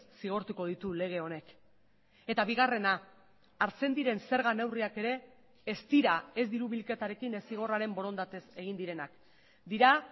zigortuko ditu lege honek eta bigarrena hartzen diren zerga neurriak ere ez dira ez diru bilketarekin ez zigorraren borondatez egin direnak dira